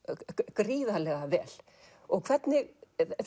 gríðarlega vel hvernig